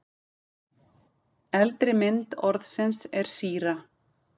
Eldri mynd orðsins er síra.